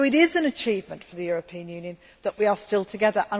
It is an achievement for the European Union that we are still together.